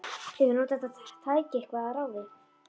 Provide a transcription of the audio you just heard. Hefurðu notað þetta tæki eitthvað að ráði?